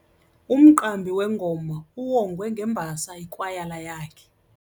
Umqambi wengoma uwongwe ngembasa yikwayala yakhe.